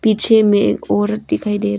पीछे में एक औरत दिखाई दे रही--